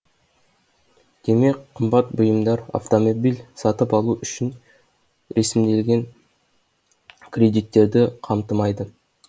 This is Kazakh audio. демек қымбат бұйымдар автомобиль сатып алу үшін ресімделген кредиттерді қамтымайды